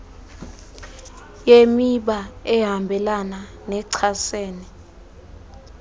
yemiba ehambelana nechasene